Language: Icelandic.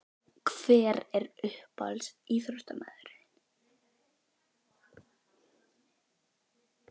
Hver er uppáhalds íþróttamaður þinn?